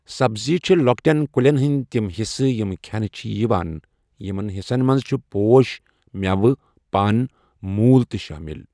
سَبزی چھِ لۄکٹؠن کُلؠن ہٕنٛدۍ تم حِصہٕ یِم کھؠنہٕ چھِ یِوان۔ یِمن حِصن منٛز چھِ پۄش، مؠوٕ، پَن، موٗل تہٕ شٲمِل.